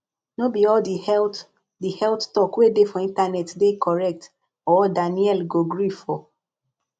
no be all the health the health talk wey dey for internet dey correct or danielle go gree for